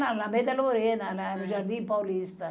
Lá na Alameda Lorena, no Jardim Paulista.